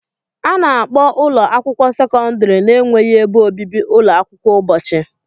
A na-akpọ ụlọ akwụkwọ sekọndrị na-enweghị ebe obibi ụlọ akwụkwọ ụbọchị.